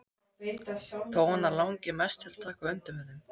Þó hana langi mest til að taka undir með þeim.